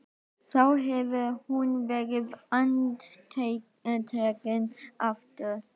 Þá hefði hún verið handtekin aftur.